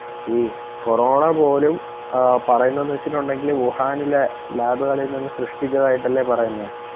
ഈ corona പോലും പറയുന്നത് വെച്ചിട്ടുണ്ടെങ്കില് ഉഹാനിലെ ലാബുകളിൽ നിന്നും സ്രെഷ്ടിച്ചതായിട്ടാലേ പറയുന്നത്